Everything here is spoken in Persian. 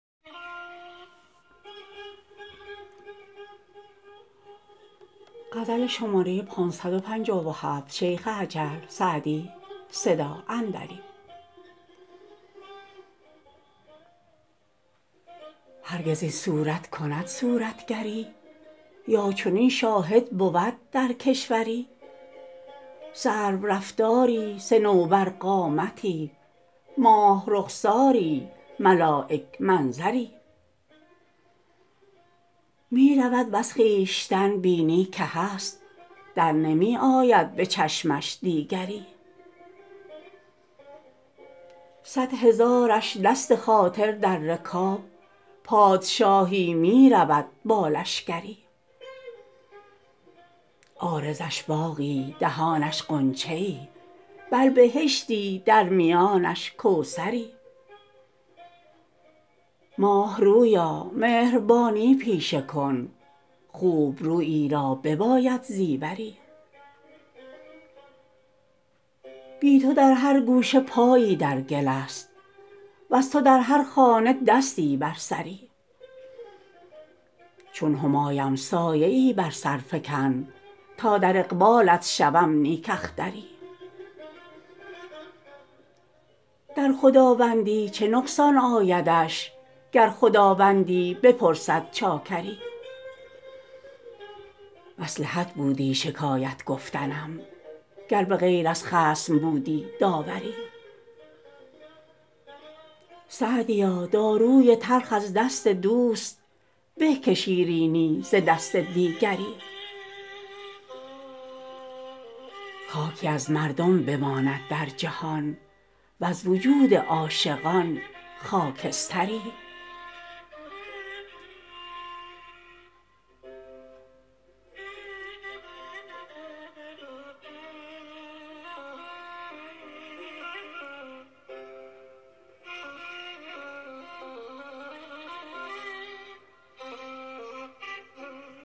هرگز این صورت کند صورتگری یا چنین شاهد بود در کشوری سرورفتاری صنوبرقامتی ماه رخساری ملایک منظری می رود وز خویشتن بینی که هست در نمی آید به چشمش دیگری صد هزارش دست خاطر در رکاب پادشاهی می رود با لشکری عارضش باغی دهانش غنچه ای بل بهشتی در میانش کوثری ماه رویا مهربانی پیشه کن خوب رویی را بباید زیوری بی تو در هر گوشه پایی در گل است وز تو در هر خانه دستی بر سری چون همایم سایه ای بر سر فکن تا در اقبالت شوم نیک اختری در خداوندی چه نقصان آیدش گر خداوندی بپرسد چاکری مصلحت بودی شکایت گفتنم گر به غیر از خصم بودی داوری سعدیا داروی تلخ از دست دوست به که شیرینی ز دست دیگری خاکی از مردم بماند در جهان وز وجود عاشقان خاکستری